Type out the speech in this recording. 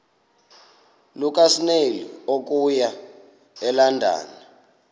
lukasnail okuya elondon